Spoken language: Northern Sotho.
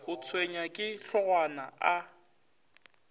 o tshwenywa ke hlogwana a